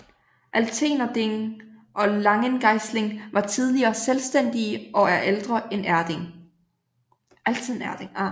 Altenerding og Langengeisling var tidligere selvstændige og er ældre end Erding